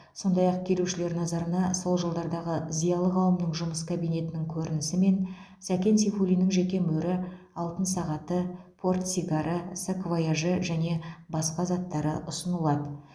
сондай ақ келушілер назарына сол жылдардағы зиялы қауымның жұмыс кабинетінің көрінісі мен сәкен сейфуллиннің жеке мөрі алтын сағаты портсигары саквояжы және басқа заттары ұсынылады